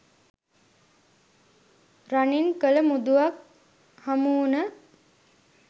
රනින් කළ මුදුවක් හමුවුණ